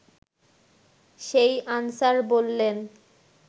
সেই আনসার বললেন